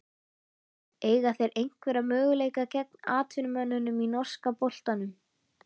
Eiga þeir einhverja möguleika gegn atvinnumönnunum í norska boltanum?